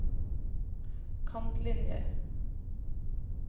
kantlinjer